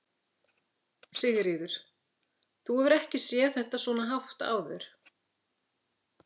Sigríður: Þú hefur ekki séð þetta svona hátt áður?